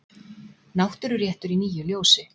Náttúruréttur í nýju ljósi.